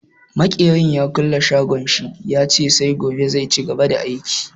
Makerin ya kulle shagon shi, ya ce sai gobe zai cigaba da aiki.